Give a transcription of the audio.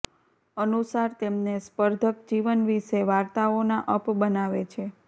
અનુસાર તેમને સ્પર્ધક જીવન વિશે વાર્તાઓના અપ બનાવે છે